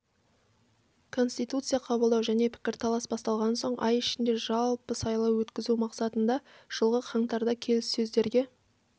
конституция қабылдау және пікірталас басталған соң ай ішінде жалпы сайлау өткізу мақсатында жылғы қаңтарда келіссөздерге